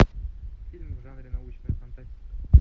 фильм в жанре научная фантастика